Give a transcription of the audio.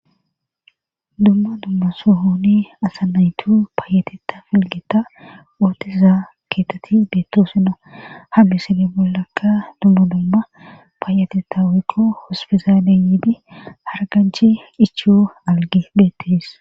dumma dumma sohoni asa naytu paayateta filgita ootiza keetati deetto sina ha misane bollakka dumma dumma paayateta wukqo hospizaale yiidi harganchi ichiyo algi beettes